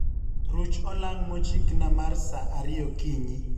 Ruch olang' mochikna mar sa ariyo okinyi